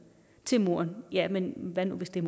til moren ja men hvad nu hvis det